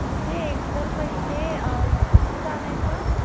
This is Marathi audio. म्हणजे एक तर पहिले अ दूध आणायचं